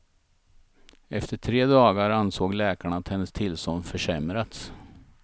Efter tre dagar ansåg läkarna att hennes tillstånd försämrats.